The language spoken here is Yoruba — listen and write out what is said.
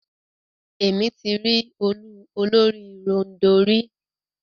Émi ti ri òòlù olórì-ròndọ̀ rí.